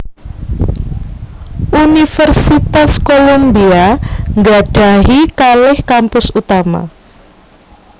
Universitas Columbia nggadhahi kalih kampus utama